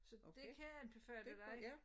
Så dét kan jeg anbefale dig